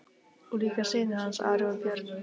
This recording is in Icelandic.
Og líka synir hans, Ari og Björn.